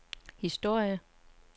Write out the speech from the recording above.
historie